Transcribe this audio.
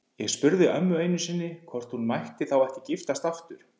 Ég spurði ömmu einu sinni hvort hún mætti þá ekki giftast aftur.